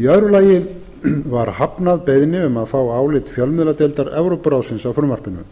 í öðru lagi var hafnað beiðni um að fá álit fjölmiðladeildar evrópuráðsins á frumvarpinu